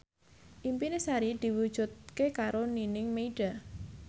impine Sari diwujudke karo Nining Meida